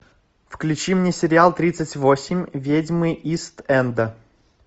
включи мне сериал тридцать восемь ведьмы ист энда